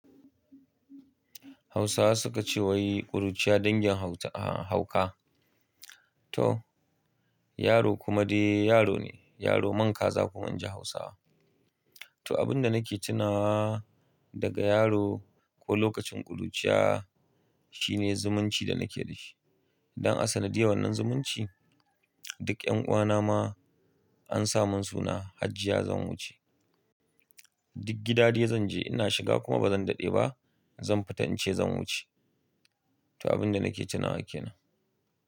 Hausawa suka ce wai ƙuruciya dangin hau-hauka. To yaro kuma dai yaro ne, yaro mankaza kuma ainji Hausawa. To abin da nake tuna daga yaro ko lokacin ƙuruciya shine zumunci da nake da shi. Don asali diyawan nan zumunci duk ƴan ƙuwa na ma an sa mun suna Hajjiya Zanwuce. Duk gida dai zan je ina shiga kuma bazan daɗe ba zan fita in ce zan wuce. To abin da nake tuna yake nan.